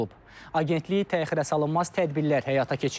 Agentlik təxirəsalınmaz tədbirlər həyata keçirib.